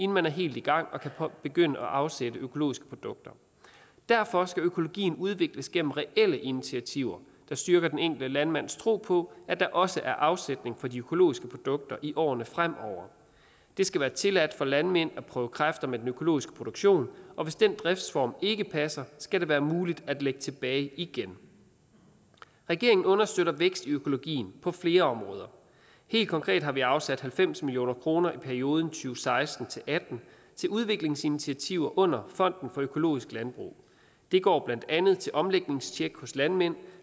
man er helt i gang og kan begynde at afsætte økologiske produkter derfor skal økologien udvikles gennem reelle initiativer der styrker den enkelte landmands tro på at der også er afsætning på de økologiske produkter i årene fremover det skal være tilladt for landmænd at prøve kræfter med den økologiske produktion og hvis den driftsform ikke passer skal det være muligt at lægge tilbage igen regeringen understøtter vækst i økologien på flere områder helt konkret har vi afsat halvfems million kroner i perioden to seksten til atten til udviklingsinitiativer under fonden for økologisk landbrug det går blandt andet til omlægningstjek hos landmænd